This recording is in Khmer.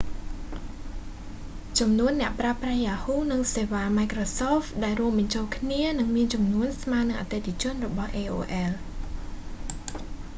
ចំនួនអ្នកប្រើប្រាស់ yahoo និងសេវា microsoft ដែលរួមបញ្ចូលគ្នានឹងមានចំនួនស្មើទៅនឹងអតិថិជនរបស់ aol